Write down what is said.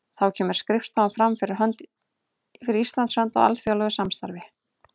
Þá kemur skrifstofan fram fyrir Íslands hönd í alþjóðlegu samstarfi.